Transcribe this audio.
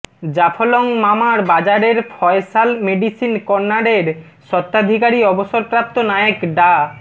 জাফলং মামার বাজারের ফয়সাল মেডিসিন কর্নারের স্বত্বাধিকারী অবসরপ্রাপ্ত নায়েক ডা